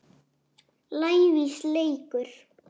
lævís leikur.